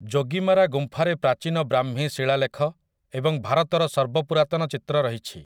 ଯୋଗିମାରା ଗୁମ୍ଫାରେ ପ୍ରାଚୀନ ବ୍ରାହ୍ମୀ ଶିଳାଲେଖ ଏବଂ ଭାରତର ସର୍ବପୁରାତନ ଚିତ୍ର ରହିଛି ।